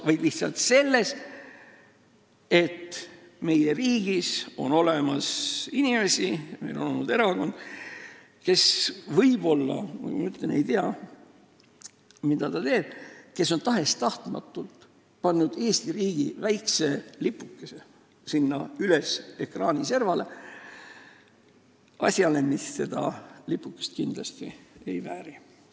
Viga on lihtsalt selles, et meie riigis on selliseid inimesi ja erakond, kes, nagu ma ütlesin, võib-olla ei tea, mida nad teevad ja kes on tahes-tahtmatult pannud Eesti riigi väikse lipukese sinna üles ekraani servale, ehkki see asi kindlasti seda lipukest ei vääri.